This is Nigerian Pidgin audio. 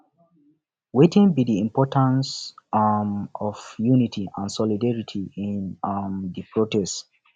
wetin be di importance um of unity and solidarity in um di protest